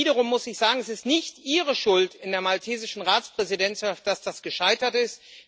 Und wiederum muss ich sagen Es ist nicht Ihre Schuld in der maltesischen Ratspräsidentschaft, dass das gescheitert ist.